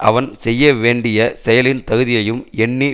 அவன் செய்ய வேண்டிய செயலின் தகுதியையும் எண்ணி